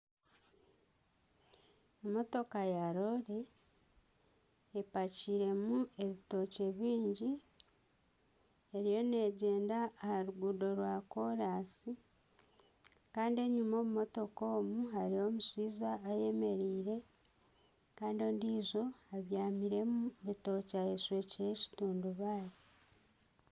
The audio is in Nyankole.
Emotoka ya loore epakiiremu ebitookye bingi eriyo neegyenda aha ruguuto rwakoransi, kandi enyuma omu motoka omu hariyo omushaija ayemereire, kandi ondiijo abyamire omu bitookye ayeshwekire ekitundubaare.